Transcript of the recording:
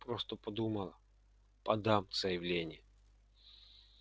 просто подумал подам заявление